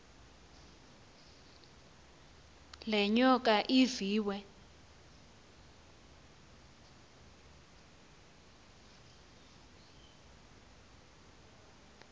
le nyoka iviwe